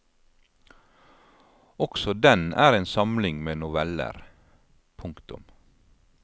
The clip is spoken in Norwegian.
Også den er en samling med noveller. punktum